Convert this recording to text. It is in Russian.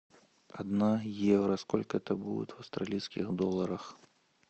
одна евро сколько это будет в австралийских долларах